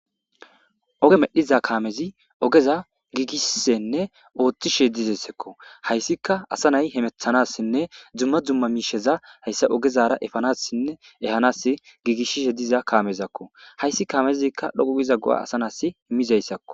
Oge medhiza kamezi ogeza gigishishenne othishe deyesi. Hayisika assa nayi hemetanasine duma duma misheza hayisa ogezara efanasi ehanasi gigisishe diza kamezako hayisi kamezika dhoqu gida go'a assa na'as imizayisako